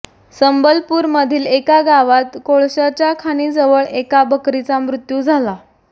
संबलपूर मधील एका गावात कोळसाच्या खाणीजवळ एका बकरीचा मृत्यू झाला